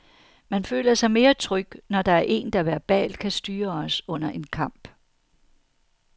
Man føler sig mere tryg, når der er en, der verbalt kan styre os under en kamp.